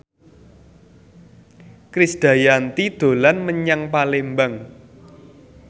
Krisdayanti dolan menyang Palembang